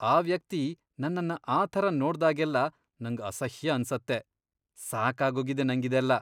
ಆ ವ್ಯಕ್ತಿ ನನ್ನನ್ನ ಆ ಥರ ನೋಡ್ದಾಗೆಲ್ಲ ನಂಗ್ ಅಸಹ್ಯ ಅನ್ಸತ್ತೆ. ಸಾಕಾಗೋಗಿದೆ ನಂಗಿದೆಲ್ಲ.